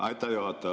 Aitäh, juhataja!